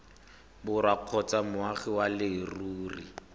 borwa kgotsa moagi wa leruri